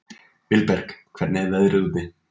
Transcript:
Vilberg, hvernig er veðrið úti?